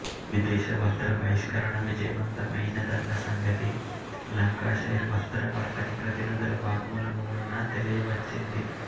విదేశ వస్త్ర బహిష్కరణ విజయవంతమైనదన్న సంగతి లంకాషైర్ వస్త్ర వర్తకప్రతినిధుల వాగ్మూలమువలన తెలియవచ్చింది